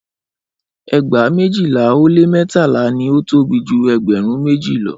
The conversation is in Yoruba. Ẹgba mejila o le mẹtala ni o tobi ju ẹgbẹrun meji lọ.